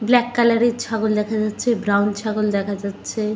Black colour -এর ছাগল দেখা যাচ্ছে ব্রাউন ছাগল দেখা যাচ্ছে।